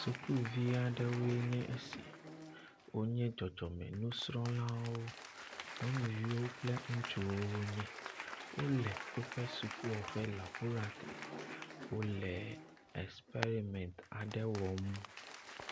Sukuvi aɖewoe nye esi. Wo nye dzɔdzɔme nusrɔlawo. Nyɔnuviwo kple ŋutsuwo nye. Wo le woƒe sukua ƒe labolatoɖi. Wo le experimenti aɖewo wɔm.